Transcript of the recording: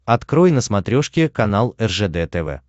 открой на смотрешке канал ржд тв